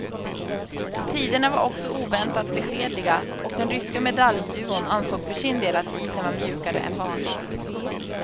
Tiderna var också oväntat beskedliga och den ryska medaljduon ansåg för sin del att isen var mjukare än vanligt.